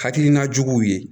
Hakilina juguw ye